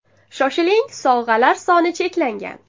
Shoshiling, sovg‘alar soni cheklangan!